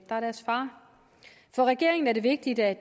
er deres far for regeringen er det vigtigt at